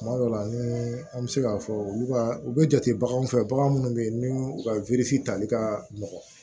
Tuma dɔw la ni an bɛ se k'a fɔ olu ka u bɛ jate baganw fɛ bagan minnu bɛ yen n'u ka tali ka nɔgɔn